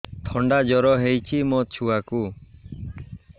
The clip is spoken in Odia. ଥଣ୍ଡା ଜର ହେଇଚି ମୋ ଛୁଆକୁ